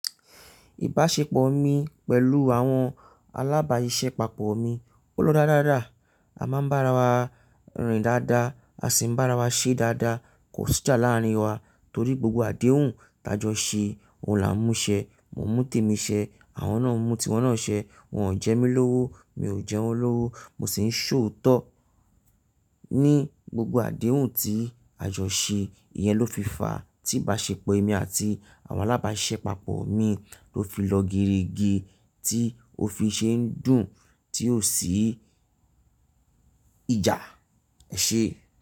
Ìbáṣepọ̀ mi pẹ̀lú àwọn alábàáṣiṣẹ́ pàpọ̀ mi ó lọ dáradára. A máa ń bá ara wa rìn dáadáa, a sì ń bá ara wa ṣe dáadáa. Kò sí ìjà láàárín wa torí gbogbo àdéhùn tí a jọ ṣe, òun là ń mú ṣẹ, mo mú tèmi ṣẹ, àwọn náà mú tí wọ́n náà ṣẹ. Wọn ò jẹ mí lówó, mi ò jẹ wọ́n lówó, mo sì ń ṣòótọ́ ní gbogbo àdéhùn tí a jọ ṣe. Ìyẹn ló fi fàá tí ìbáṣepọ̀ èmi àti àwọn alábáṣiṣẹ́ pàpọ̀ mi ló fi lọ gerege, tí ó fi ṣe ń dùn, tí ò sí ìjà ẹṣẹ.